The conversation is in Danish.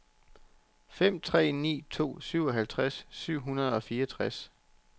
fem tre ni to syvoghalvtreds syv hundrede og fireogtres